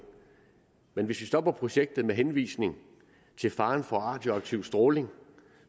men hvis vi stopper projektet med henvisning til faren for radioaktiv stråling